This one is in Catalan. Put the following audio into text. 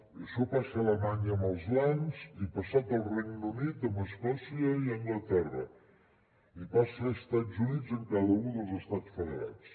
i això passa a alemanya amb els lands i ha passat al regne unit amb escòcia i anglaterra i passa a estats units en cada un dels estats federats